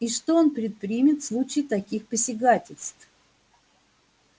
и что он предпримет в случае таких посягательств